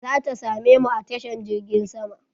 Za ta same mu a tashar jirgin sama.